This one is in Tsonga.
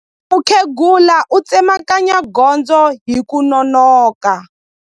Mukhegula u tsemakanya gondzo hi ku nonoka.